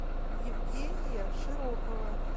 евгения широкова